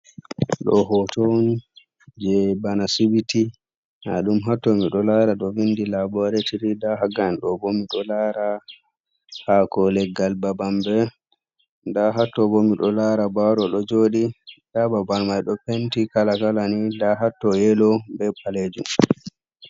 Ɗo hoto on je bana asibiti, nda dum hatto mi ɗo lara ɗo vindi laboratiri, nda hagal ɗo bo miɗo lara hako leggal babambe nda hatto bo miɗo lara baro ɗo joɗi, nda babal mai ɗo penti kala gala ni, nda hatto yelo be palejum.